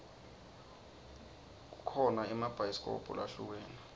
kukho naemabhayisikobho lahlukene